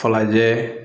Falajɛ